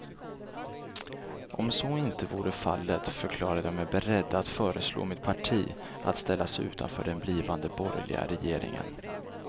Om så inte vore fallet förklarade jag mig beredd att föreslå mitt parti att ställa sig utanför den blivande borgerliga regeringen.